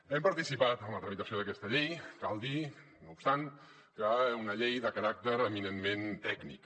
hem participat en la tramitació d’aquesta llei cal dir no obstant que és una llei de caràcter eminentment tècnic